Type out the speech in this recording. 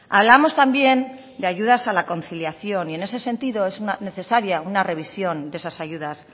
hablamos también de ayudas a la conciliación y en ese sentido es necesaria una revisión de esas ayudas